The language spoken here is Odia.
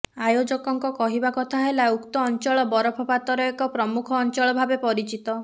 ଆୟୋଜନଙ୍କ କହିବା କଥା ହେଲା ଉକ୍ତ ଅଞ୍ଚଳ ବରଫପାତର ଏକ ପ୍ରମୁଖ ଅଞ୍ଚଳ ଭାବେ ପରିଚିତ